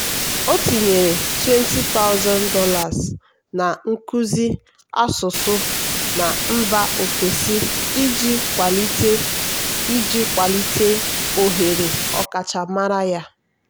o tinyere $20000 na nkuzi asụsụ na mba ofesi iji kwalite iji kwalite ohere ọkachamara ya.